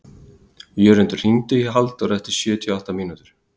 Jörundur, hringdu í Halldóru eftir sjötíu og átta mínútur.